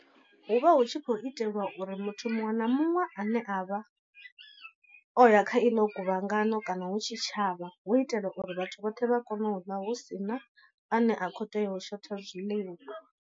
Hu vha hu tshi khou itelwa uri muthu muṅwe na muṅwe a ne a vha o ya kha iḽo guvhangano kana hu tshitshavha hu itela uri vhathu vhoṱhe vha kone u ḽa hu si na a ne a khou tea u shotha zwiḽiwa.